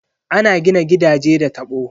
Ana gina gidaje da tabo.